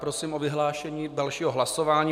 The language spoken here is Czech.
Prosím o vyhlášení dalšího hlasování.